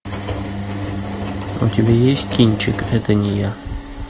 у тебя есть кинчик это не я